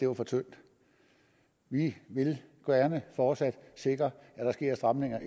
var for tyndt vi vil gerne fortsat sikre at der sker stramninger